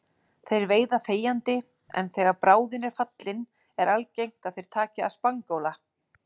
Þeir veiða þegjandi en þegar bráðin er fallin er algengt að þeir taki að spangóla.